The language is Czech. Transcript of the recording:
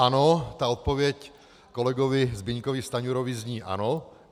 Ano, ta odpověď kolegovi Zbyňkovi Stanjurovi zní ano.